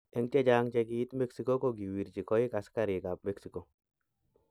En chechang che kiit mexico ko kiwrchi koig asigarik ap Mexico.